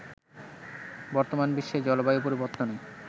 বর্তমান বিশ্বে জলবায়ু পরিবর্তনে